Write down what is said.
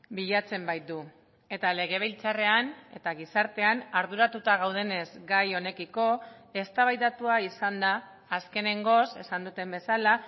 bilatzen baitu eta legebiltzarrean eta gizartean arduratuta gaudenez gai honekiko eztabaidatua izan da azkenengoz esan duten bezala